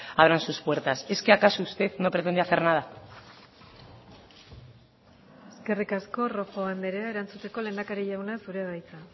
abran sus puertas es qué acaso usted no pretende hacer nada eskerrik asko rojo andrea erantzuteko lehendakari jauna zurea da hitza